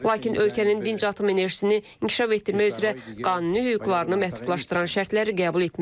Lakin ölkənin dinc atom enerjisini inkişaf etdirmək üzrə qanuni hüquqlarını məhdudlaşdıran şərtləri qəbul etməyəcək.